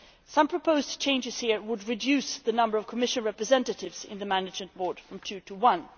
Some proposed changes here would reduce the number of Commission representatives on the Management Board from two to one.